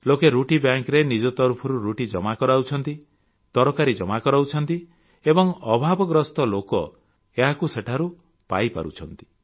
ଲୋକେ ରୁଟି ବ୍ୟାଙ୍କରେ ନିଜ ତରଫରୁ ରୁଟି ଜମା କରାଉଛନ୍ତି ତରକାରୀ ଜମା କରାଉଛନ୍ତି ଏବଂ ଅଭାବଗ୍ରସ୍ତ ଲୋକ ଏହାକୁ ସେଠାରୁ ପାଇପାରୁଛନ୍ତି